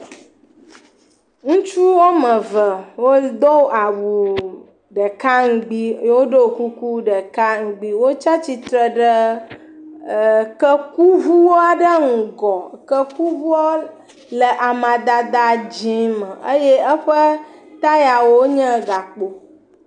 Ŋutsu woame ve wodo awu ɖeka ŋgbi eye wodo kuku ɖeka ŋgbi. Wotsa tsitre ɖe ɛɛ kekuŋu aɖe ŋgɔ. Kekuŋuɔ le amadada dzɛ̃ me eye ee tayawo nye gakpo.